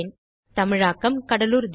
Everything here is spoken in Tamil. தமிழாக்கம் கடலூர் திவா